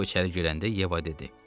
O içəri girəndə Yeva dedi: